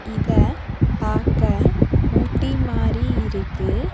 இத பாக்க ஊட்டி மாரி இருக்கு.